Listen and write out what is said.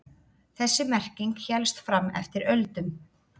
Þessi merking hélst fram eftir öldum.